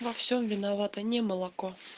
во всем виновато не молоко